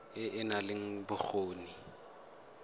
e e nang le bokgoni